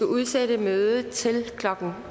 udsætte mødet til klokken